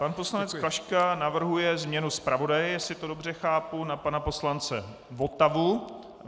Pan poslanec Klaška navrhuje změnu zpravodaje, jestli to dobře chápu, na pana poslance Votavu.